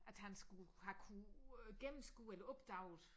At han skulle have kunnet gennemskue eller opdaget